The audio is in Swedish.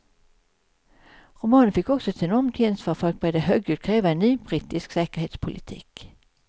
Romanen fick också ett enormt gensvar och folk började högljutt kräva en ny brittisk säkerhetspolitik.